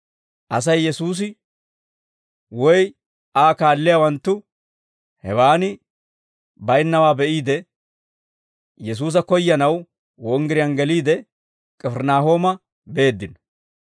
Asay Yesuusi woy Aa kaalliyaawanttu hewaan baynnawaa be'iide, Yesuusa koyyanaw wonggiriyaan geliide, K'ifirinaahooma beeddino.